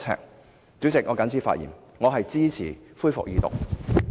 代理主席，我謹此陳辭，支持《條例草案》恢復二讀。